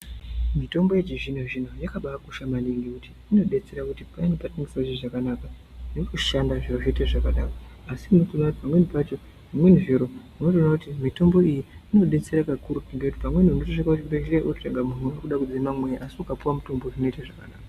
Mutombo yéchizvino zvino yakaba kosha maningi ngekuti inodetsrra kuti payani patinofa zviro zvakanaka yotoshanda zviro zvoite zvakadaro asi unotoona kuti pamweni pacho zvimweni zviro unotoona kuti mutombo iyi inodetsera kakurutu nekuti pamweni unosvika kuchibhedhleya munhu akuda kudzima mweya asi ukapuwa mutombo zvinoita zvakanaka.